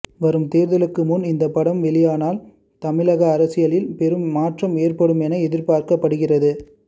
வரும் தேர்தலுக்கு முன் இந்த படம் வெளியானால் தமிழக அரசியலில் பெரும் மாற்றம் ஏற்படும் என எதிர்பார்க்கப்படுகிறது